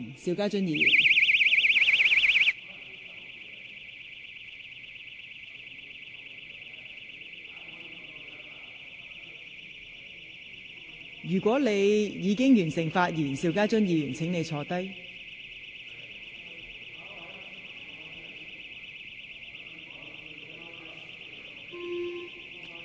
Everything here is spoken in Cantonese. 邵家臻議員，如果你已發言完畢，請坐下。